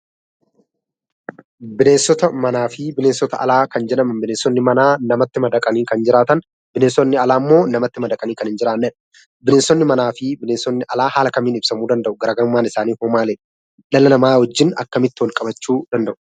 Bineensota manaa fi bineensota alaa kan jedhaman, bineensonni manaa namatti madaqanii kan jiraatan, bineensonni alaa immoo namatti madaqanii kan hin jiraannedha. Bineensonni manaa fi bineensonni alaa maaliin ibsamuu danda'u? Garaagarummaan isaanii hoo maalidha? Dhala namaa wajjin akkamitti wal qabachuu danda'u?